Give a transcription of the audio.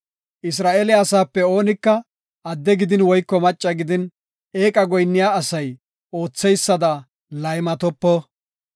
Isra7eele asaape oonika adde gidin woyko macca gidin, eeqa goyinniya asay ootheysada laymatopo.